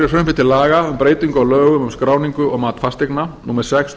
laga um um breytingu á lögum um skráningu og mat fasteigna númer sex tvö